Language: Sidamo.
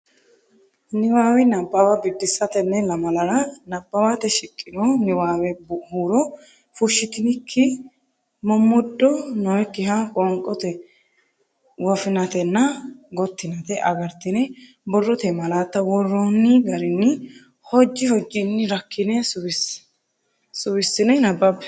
Niwaawe Nabbawa Biddissa Tenne lamalara nabbawate shiqqino niwaawe huuro fushshitinikki, mommoddo nookkiha qoonqote woffinatenna gottinate agartine borrote malaatta worroonni garinni hojji hojjinni rakkine suwissine nabbabbe.